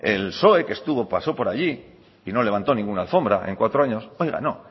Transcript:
el psoe que pasó por allí y no levantó ninguna alfombra en cuatro años oiga no